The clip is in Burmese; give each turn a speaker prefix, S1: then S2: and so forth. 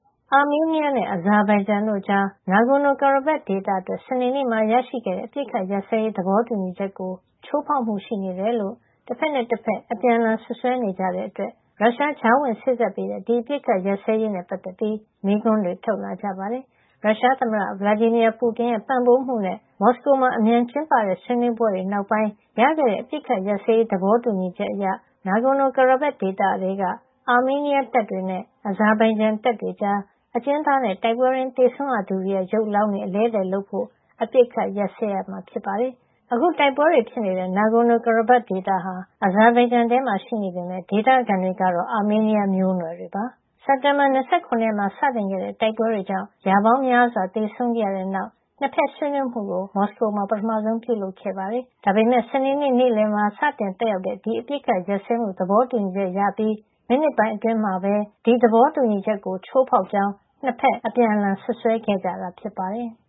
S1: အာမေးနီးယားနဲ့ အဇာဘိုင်ဂျန်တို့ကြား Nagorno-Karabakh ဒေသအတွက် စနေနေ့မှာရခဲ့တဲ့ အပစ်အခတ်ရပ်စဲရေး သဘောတူညီချက်ကို ချိုးဖောက်မှု ရှိနေတယ်လို့ တဖက်နဲ့တဖက် အပြန်အလှန် စွပ်စွဲနေကြတဲ့အတွက် ရုရှား ကြားဝင်စေ့စပ်ပေးတဲ့ ဒီအပစ်အခတ်ရပ်စဲရေးနဲ့ ပတ်သက်ပြီး မေးခွန်းတွေ ထုတ်လာကြပါတယ်။ ရုရှားသမ္မတ Vladimir Putin ရဲ့ ပံ့ပိုးမှုနဲ့ မော်စကိုမှာ အမြန်ကျင်းပတဲ့ ဆွေးနွေးပွဲတွေနောက်ပိုင်း ရခဲ့တဲ့ အပစ်အခတ်ရပ်စဲရေး သဘောတူညီချက်အရ Nagorno-Karabakh ဒေသထဲက အာမေးနီးယားတပ်တွေနဲ့ အဇာဘိုင်ဂျန်တပ်တွေကြား အကျဉ်းသားနဲ့ တိုက်ပွဲတွင်း သေဆုံးရသူတွေရဲ့ ရုပ်အလောင်းတွေ အလဲအလှယ်လုပ်ဖို့ အပစ်အခတ်ရပ်စဲရမှာ ဖြစ်ပါတယ်။ အခု တိုက်ပွဲတွေဖြစ်နေတဲ့ Nagorno-Karabakh ဒေသဟာ အဇာဘိုင်ဂျန်ထဲမှာ ရှိနေပေမဲ့ ဒေသခံတွေက အာမေးနီးယားမျိုးနွယ်တွေ ဖြစ်ပါတယ်။ စက်တင်ဘာ ၂၇ ရက်က စတင်ခဲ့တဲ့ တိုက်ပွဲတွေကြောင့် ရာပေါင်းများစွာ သေဆုံးခဲ့ရတဲ့နောက်မှာ နှစ်ဖက်ဆွေးနွေးမှုကို မော်စကိုမှာ ပထမဆုံး ပြုလုပ်ခဲ့တာပါ။ ဒါပေမယ့် စနေနေ့ နေ့လယ်မှာ စတင်သက်ရောက်တဲ့ ဒီအပစ်အခတ်ရပ်စဲမှု သဘောတူညီချက်ရပြီး မိနစ်ပိုင်းအတွင်းမှာပဲ ဒီသဘောတူညီချက်ကို ချိုးဖောက်ကြောင်း နှစ်ဖက် အပြန်အလှန် စွပ်စွဲခဲ့ကြတာ ဖြစ်ပါတယ်။